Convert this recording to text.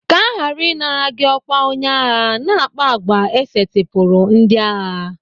Ka aghara ịnara gị ọkwa onye agha, na-akpa àgwà e setịpụrụ ndị agha.